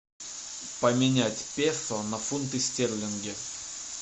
поменять песо на фунты стерлинги